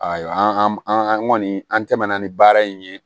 Ayiwa an an kɔni an tɛmɛna ni baara in ye